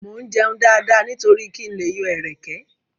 Mo ń jẹun dáadáa nítorí kí n lè yọ ẹ̀rẹ̀kẹ́.